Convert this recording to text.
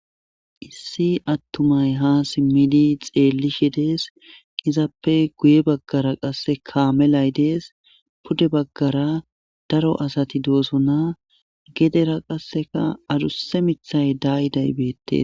Issi attumay ha simmidi xeellishe dees izappe guye baggara qasse kaame lay dees pude baggara daro asati doosona gedera qasseka aduse mithay daayi daybettes.